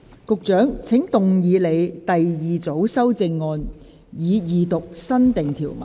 局長，請動議你的第二組修正案，以二讀新訂條文。